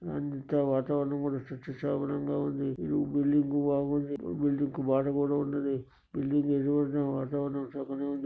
అంతా వాతావరణం కూడా సస్యశ్యామలంగా ఉంది ఈ బిల్డింగ్ బాగుంది ఈ బిల్డింగ్ కి వాటర్ కూడా ఉన్నదీ ఈ బిల్డింగ్ కి ఎదురుగ వాతావరణం కూడా బాగుంది.